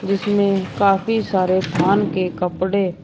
जिसमें काफ़ी सारे थान के कपड़े --